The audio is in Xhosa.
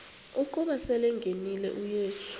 ukuba selengenile uyesu